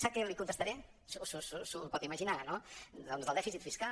sap que li contestaré s’ho pot imaginar no doncs del dèficit fiscal